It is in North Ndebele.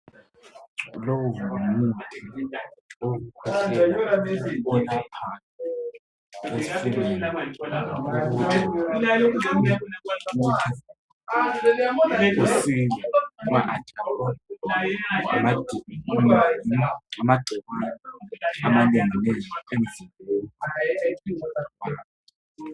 Lowu ngumuthi wokukhwehlela oyelaphayo ezifweni ukuze usile unathe ma ugula amagcikwane amanengi emzimbeni